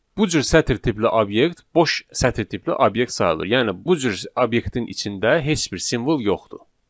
Bu cür sətr tipli obyekt boş sətr tipli obyekt sayılır, yəni bu cür obyektin içində heç bir simvol yoxdur.